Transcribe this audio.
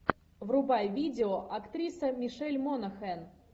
врубай видео актриса мишель монахэн